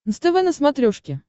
нств на смотрешке